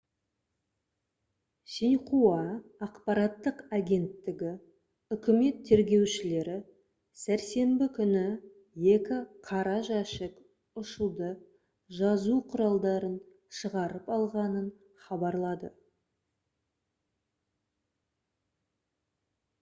«синьхуа» ақпараттық агенттігі үкімет тергеушілері сәрсенбі күні екі «қара жәшік» ұшуды жазу құралдарын шығарып алғанын хабарлады